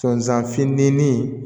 Sɔnzan fitinin